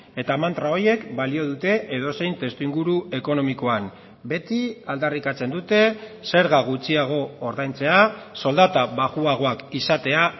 eta mantra horiek balio dute edozein testuinguru ekonomikoan beti aldarrikatzen dute zerga gutxiago ordaintzea soldata baxuagoak izatea